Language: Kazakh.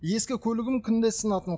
ескі көлігім күнде сынатын